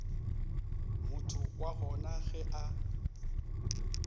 motho wa gona ge a